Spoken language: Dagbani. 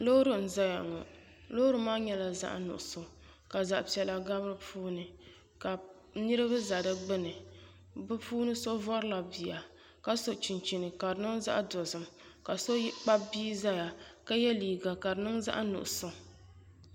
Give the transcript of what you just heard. Loori n ʒɛya ŋo loori maa nyɛla zaɣ nuɣso ka zaɣ piɛla gabi di puuni ka niraba ʒɛ di gbuni bi puuni so vorila bia ka so chinchini ka di niŋ zaɣ dozim ka so kpabi bia ʒɛya ka yɛ liiga ka di niŋ zaɣ nuɣso